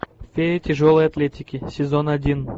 фея тяжелой атлетики сезон один